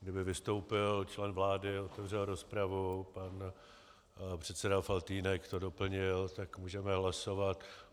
Kdyby vystoupil člen vlády, otevřel rozpravu, pan předseda Faltýnek to doplnil, tak můžeme hlasovat.